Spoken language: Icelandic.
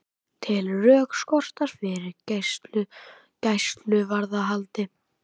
Telur rök skorta fyrir gæsluvarðhaldi